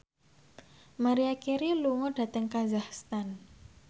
Maria Carey lunga dhateng kazakhstan